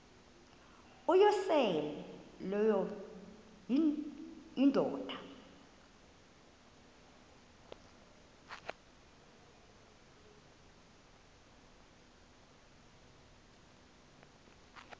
uyosele leyo indoda